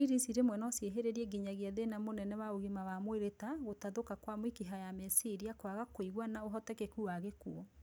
Ndarir ici rimwe no ciihiriririe nginyagia thina munene wa ugima wa mwiri ta , gũtathũka kwa mĩkiha ya meciria, kwaga kwĩigua na ũhotekeku wa gĩkuũ